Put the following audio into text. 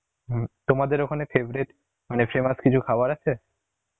হম তোমাদের ওখানে favourite, মানে famous কিছু খাবার আছে?